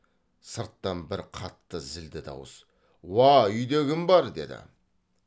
сырттан бір қатты зілді дауыс уа үйде кім бар деді